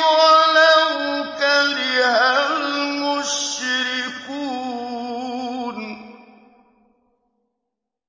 وَلَوْ كَرِهَ الْمُشْرِكُونَ